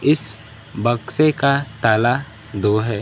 इस बक्से का ताला दो है।